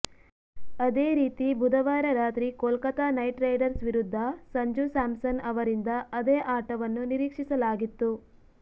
ಅದೇ ರೀತಿ ಬುಧವಾರ ರಾತ್ರಿ ಕೋಲ್ಕತಾ ನೈಟ್ ರೈಡರ್ಸ್ ವಿರುದ್ಧ ಸಂಜು ಸ್ಯಾಮ್ಸನ್ ಅವರಿಂದ ಅದೇ ಆಟವನ್ನು ನಿರೀಕ್ಷಿಸಲಾಗಿತ್ತು